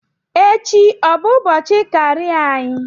Echi ọ bụ ụbọchị karịa anyị?